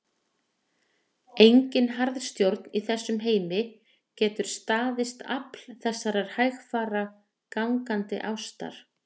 Engin harðstjórn í þessum heimi getur staðist afl þessarar hægfara, gangandi ástar